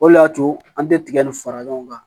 O le y'a to an tɛ tigɛ nin fara ɲɔgɔn kan